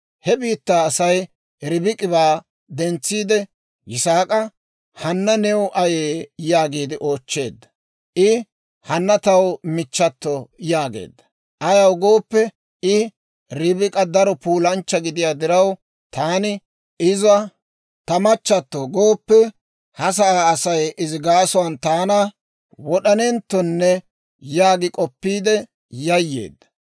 He biittaa Asay Ribik'ibaa dentsiide Yisaak'a, «Hanna new ayee?» yaagiide oochcheedda. I, «Hanna taw michchato» yaageedda. Ayaw gooppe, I Ribik'a daro puulanchcha gidiyaa diraw, «Taani, ‹Iza ta machchatto gooppe›, ha gade Asay izi gaasuwaan taana wod'anenttonne» yaagi k'oppiide yayyeedda.